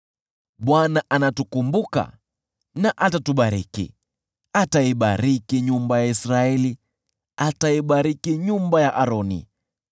Bwana anatukumbuka na atatubariki: ataibariki nyumba ya Israeli, ataibariki nyumba ya Aroni,